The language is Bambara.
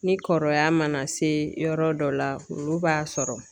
Ni kɔrɔya mana se yɔrɔ dɔ la ,olu b'a sɔrɔ